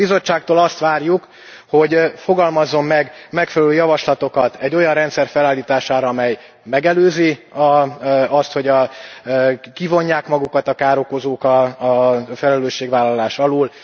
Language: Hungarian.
A Bizottságtól azt várjuk, hogy fogalmazzon meg megfelelő javaslatokat egy olyan rendszer felállítására, amely megelőzi azt, hogy kivonják magukat a károkozók a felelősségvállalás alól.